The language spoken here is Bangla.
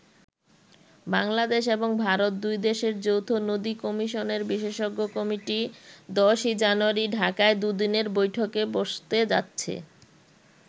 বাংলাদেশ এবং ভারত, দুই দেশের যৌথ নদী কমিশনের বিশেষজ্ঞ কমিটি ১০ই জানুয়ারি ঢাকায় দু'দিনের বৈঠকে বসতে যাচ্ছে।